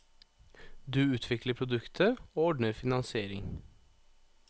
Du utvikler produktet, og ordner finansiering.